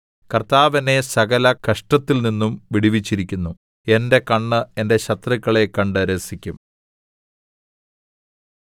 കർത്താവ് എന്നെ സകലകഷ്ടത്തിൽനിന്നും വിടുവിച്ചിരിക്കുന്നു എന്റെ കണ്ണ് എന്റെ ശത്രുക്കളെ കണ്ട് രസിക്കും